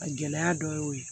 A gɛlɛya dɔ y'o ye